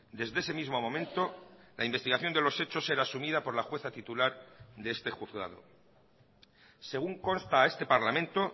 desde ese mismo momento la investigación de los hechos era asumida por la jueza titular de este juzgado según consta a este parlamento